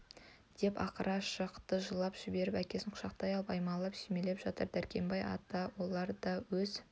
деп ақыра шықты жылап жіберіп әкесін құшақтай алып аймалап сүйемелеп жатыр дәркембай атаны олар да өз